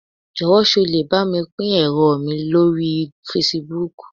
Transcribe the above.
Jọ́wọ̀ sé o lè bámi pín ẹ̀rọ mi lórí Fasibúùkù